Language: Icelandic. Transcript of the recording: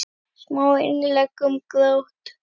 Smá innlegg um grát.